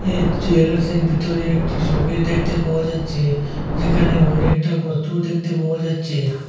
এই জুয়েলার্সের ভিতরে একটি শোকেস দেখতে পাওয়া যাচ্ছে যেখানে অনেকটা বস্তু দেখতে পাওয়া যাচ্ছে।